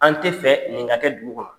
An tɛ fɛ nin ka kɛ dugu kɔnɔ.